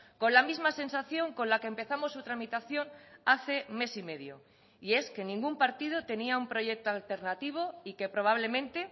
con la misma sensación con la que empezamos su tramitación hace mes y medio y es que ningún partido tenía un proyecto alternativo y que probablemente